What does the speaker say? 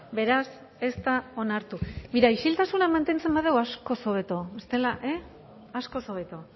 beraz ez da onartu isiltasuna mantentzen badugu askoz hobeto bestela askoz hobeto